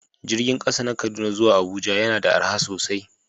Jirgin kasa na Kaduna zuwa Abuja yana da arha sosai